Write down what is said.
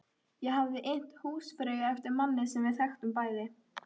Ég hafði innt húsfreyju eftir manni sem við þekktum bæði.